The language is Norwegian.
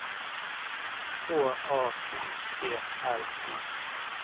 H A U G L I